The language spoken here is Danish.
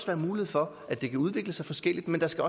være mulighed for at den kan udvikle sig forskelligt men der skal